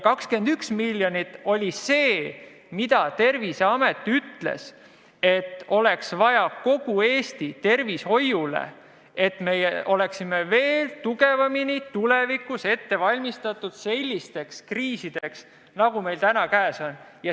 21 miljonit oli see summa, mida Terviseameti sõnul oleks vaja kogu Eesti tervishoiule, et oleksime tulevikus veel paremini ette valmistatud sellisteks kriisideks, nagu meil on täna.